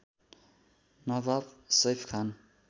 नवाब Saif खान